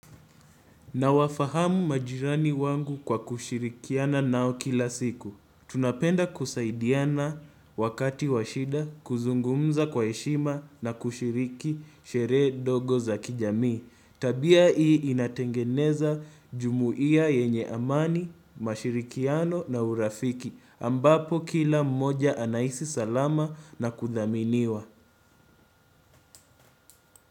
Nawafahamu majirani wangu kwa kushirikiana nao kila siku. Tunapenda kusaidiana wakati washida, kuzungumza kwa heshima na kushiriki sherehe dogo za kijamii. Tabia hii inatengeneza jumuhia yenye amani, mashirikiano na urafiki. Ambapo kila mmoja anahisi salama na kudhaminiwa.